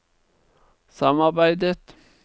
samarbeidet